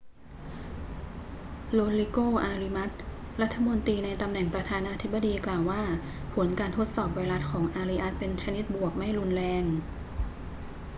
โรดริโก อาริอัส รัฐมนตรีในตำแหน่งประธานาธิบดี กล่าวว่าผลการทดสอบไวรัสของอาริอัสเป็นบวกชนิดไม่รุนแรง